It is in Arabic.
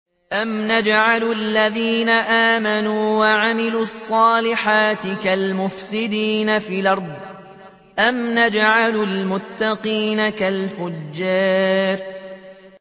أَمْ نَجْعَلُ الَّذِينَ آمَنُوا وَعَمِلُوا الصَّالِحَاتِ كَالْمُفْسِدِينَ فِي الْأَرْضِ أَمْ نَجْعَلُ الْمُتَّقِينَ كَالْفُجَّارِ